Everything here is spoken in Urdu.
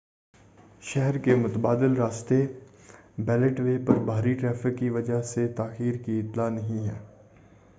شہر کے متبادل راستے بیلٹ وے پر بھاری ٹریفک کی وجہ سے تاخیر کی اطلاع نہیں ہے